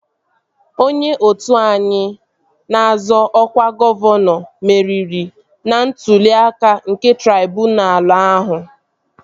Onye otu anyị na-azọ ọkwa gọvanọ meriri n'ntụli aka nke traibunalu ahụ